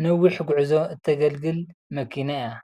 ንነዊሕ ጉዕዞ እተገልግል መኪና እያ፡፡